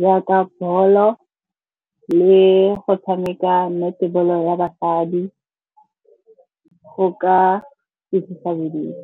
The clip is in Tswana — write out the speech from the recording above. Jaaka bolo le go tshameka netball-o ya basadi go ka ikentsha bodutu.